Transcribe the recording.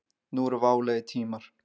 Nú eru válegir tímar.